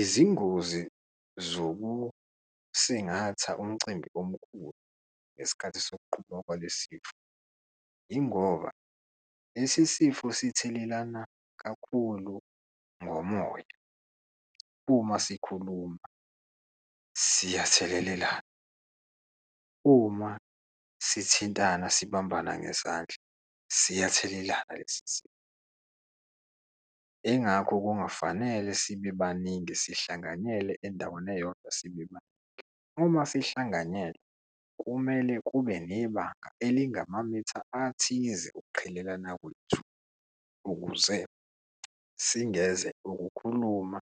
Izingozi zokusingatha umcimbi omkhulu ngesikhathi sokuqhuba kwalesi sifo, yingoba lesi sifo sithelelana kakhulu ngomoya. Uma sikhuluma siyathelelelana, uma sithintana sibambana ngezandla siyathelelana lesi sifo, ingakho kungafanele sibe baningi, sihlanganyele endaweni eyodwa, sibe baningi. Uma sihlanganyele, kumele kube nebanga elingamamitha athize ukuqhelelana kwethu ukuze singeze ukukhuluma